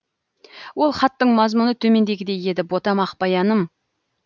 ол хаттың мазмұны төмендегідей еді ботам ақбаяным